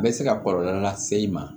Bɛ se ka kɔlɔlɔ lase i ma